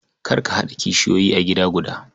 Kar ka haɗa kishiyoyi a gida guda.